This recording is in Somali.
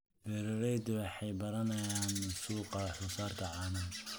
Beeraleydu waxay baranayaan suuqa wax-soo-saarka caanaha.